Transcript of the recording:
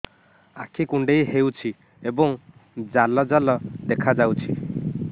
ଆଖି କୁଣ୍ଡେଇ ହେଉଛି ଏବଂ ଜାଲ ଜାଲ ଦେଖାଯାଉଛି